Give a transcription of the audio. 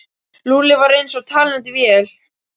Lúlli var eins og talandi vél.